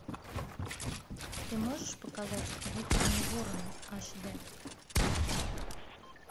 ты можешь показать выкорми ворона аш д